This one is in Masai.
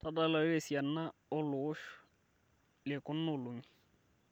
tadalayu tesiana ooloowosh lekunaolong'i